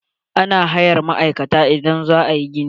Ana hayar ma'aikata idan za a yi gini.